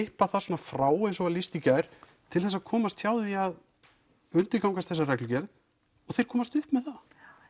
klippa það frá eins og var lýst í gær til þess að komast hjá því að undirgangast þessa reglugerð og þeir komast upp með það